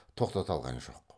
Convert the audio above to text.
тоқтата алған жоқ